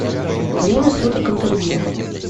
время суток интервью